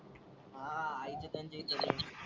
हा रहायचं त्यांच्या इथं.